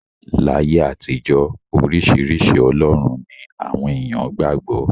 Láyé àtijọ́, oríṣiríṣi ọlọ́run ni àwọn èèyàn qgbà gbọ́.